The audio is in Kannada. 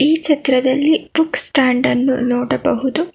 ಈ ಚಿತ್ರದಲ್ಲಿ ಬುಕ್ಸ್ ಸ್ಟ್ಯಾಂಡ್ ಅನ್ನು ನೋಡಬಹುದು.